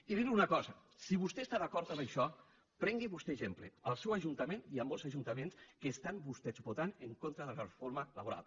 i dir li una cosa si vostè està d’acord amb això prengui’n vostè exemple al seu ajuntament i en molts ajuntaments en què vostès voten en contra de la reforma laboral